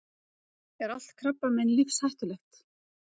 Er allt krabbamein lífshættulegt?